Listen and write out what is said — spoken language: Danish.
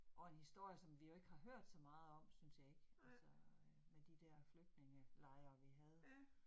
Og en historie, som vi jo ikke har hørt så meget om synes jeg ikke altså øh, med de der flygtningelejre vi havde